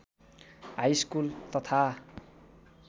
high school तथा